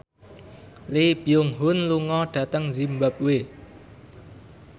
Lee Byung Hun lunga dhateng zimbabwe